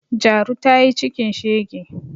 Jaru ta yi cikin shege